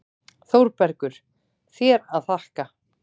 ÞÓRBERGUR: Þér að þakka!